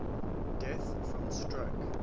deaths from stroke